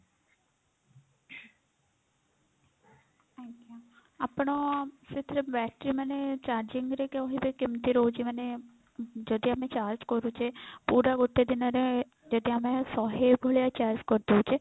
ଆଜ୍ଞା ଆପଣ ସେଥିରେ battery ମାନେ charging ରେ କହିବେ କେମତି ରହୁଛି ମାନେ ଯଦି ଆମେ charge କରୁଛେ ପୁରା ଗୋଟେ ଦିନ ରେ ଯଦି ଆମେ ଶହେ ଭଳିଆ charge କରିଦଉଛେ